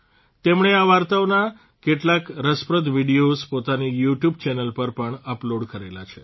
તેમણે આ વાર્તાઓના કેટલાક રસપ્રદ વિડિયોઝ પોતાની યુટ્યુબ ચેનલ પર પણ અપલોડ કરેલા છે